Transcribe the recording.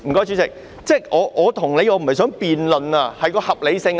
主席，我不是想與你辯論，這是合理性的問題。